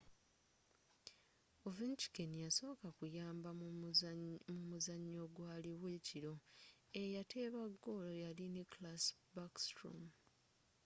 ovechkin yasoka kuyamba mumuzanyo ogwaliwo ekiro eyateba golo yali nicklas backstrom